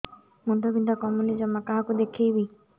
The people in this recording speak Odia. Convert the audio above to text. ମୁଣ୍ଡ ବିନ୍ଧା କମୁନି ଜମା କାହାକୁ ଦେଖେଇବି